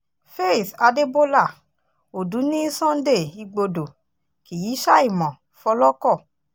faith adébólà òdú ní sunday igbodò kì í ṣàìmọ̀ fọlọ́kọ̀